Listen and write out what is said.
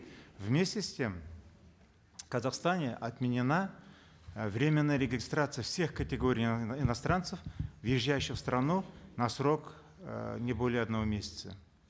вместе с тем в казахстане отменена э временная регистрация всех категорий иностранцев въезжающих в страну на срок э не более одного месяца